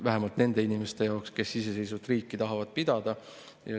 Vähemalt nende inimeste jaoks, kes iseseisvat riiki tahavad pidada.